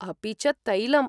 अपि च तैलम्!